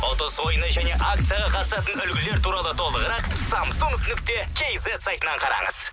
ұтыс ойыны және акцияға қатысатын үлгілер туралы толығырақ самсунг нүкте кизет сайтынан қараңыз